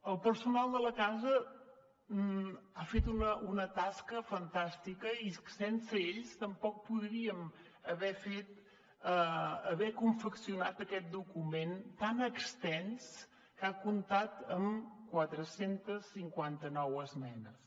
el personal de la casa ha fet una tasca fantàstica i sense ells tampoc podríem haver confeccionat aquest document tan extens que ha comptat amb quatre cents i cinquanta nou esmenes